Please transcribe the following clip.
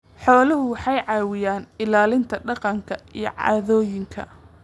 Xooluhu waxay caawiyaan ilaalinta dhaqanka iyo caadooyinka.